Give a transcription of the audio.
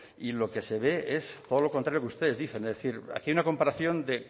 y lo que se ve es todo lo contrario que ustedes dicen es decir aquí hay una comparación de